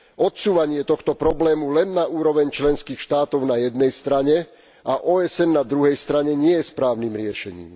Odsúvanie tohto problému len na úroveň členských štátov na jednej strane a OSN na druhej strane nie je správnym riešením.